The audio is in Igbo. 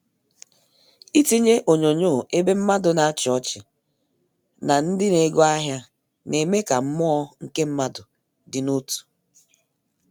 Ịtinyé onyonyo ébé mmádụ nà áchi ọchị nà ndị na ego ahịa na-eme ka mmụọ nke mmadụ dị n'otù